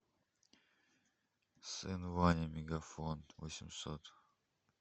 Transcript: сын ваня мегафон восемьсот